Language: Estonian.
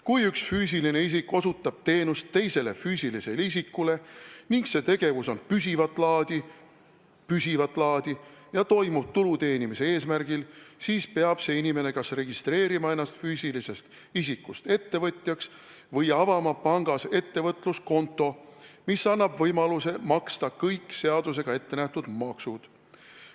Kui üks füüsiline isik osutab teenust teisele füüsilisele isikule ning see tegevus on püsivat laadi ja toimub tulu teenimise eesmärgi, siis peab see inimene kas registreerima ennast füüsilisest isikust ettevõtjaks või avama pangas ettevõtluskonto, mis annab võimaluse maksta kõik seadusega ettenähtud maksud.